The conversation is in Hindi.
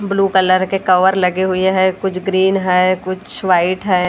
ब्लू कलर के कवर लगे हुए हैं कुछ ग्रीन हैं कुछ वाइट हैं।